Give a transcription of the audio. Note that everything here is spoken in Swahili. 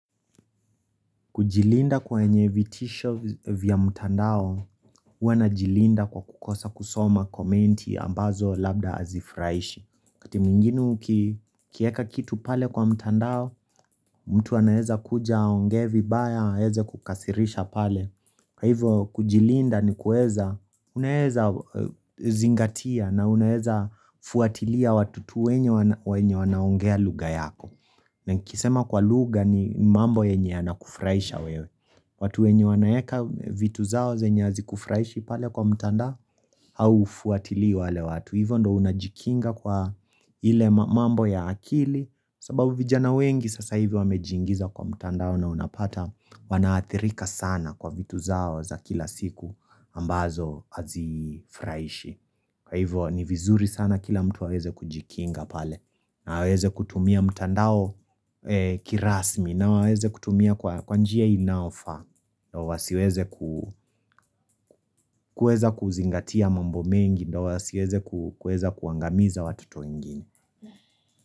Kujilinda kwa wenye vitisho vya mtandao, huwa najilinda kwa kukosa kusoma komenti ambazo labda hazifurahishi. Wakati mwingine ukiweka kitu pale kwa mtandao mtu anaweza kuja aongee vibaya aweze kukukasirisha pale Hivyo kujilinda ni kuweza, unaweza zingatia na unaweza fuatilia watu wenye wanaongea lugha yako. Nikisema kwa lugha ni mambo yenye yanakufurahisha wewe. Watu wenye wanaweka vitu zao zenye hazikufurahishi pale kwa mtandao au hufuatilii wale watu Hivyo ndo unajikinga kwa ile mambo ya akili sababu vijana wengi sasa hivi wamejiingiza kwa mtandao unapata wanaathirika sana kwa vitu zao za kila siku ambazo hazifurahishi Kwa hivo ni vizuri sana kila mtu aweze kujikinga pale na aweze kutumia mtandao kirasmi na waweze kutumia kwa njia inayofaa na wasiweze kuweza kuzingatia mambo mengi na wasiweze kuweza kuangamiza watoto wengine.